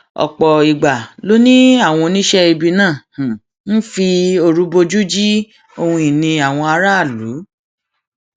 ọpọ ìgbà ló ní àwọn oníṣẹibì náà ń fi òru bojú ji ohun ìní àwọn aráàlú